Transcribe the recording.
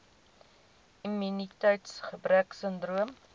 immuniteits gebrek sindroom